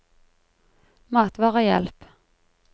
matvarehjelp